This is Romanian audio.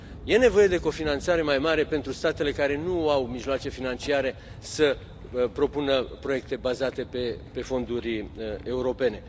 Este nevoie de cofinanțare mai mare pentru statele care nu au mijloace financiare să propună proiecte bazate pe fonduri europene.